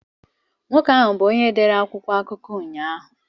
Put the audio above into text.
Nwoke ahụ bụ onye dere akwụkwọ akụkọ ụnyahụ.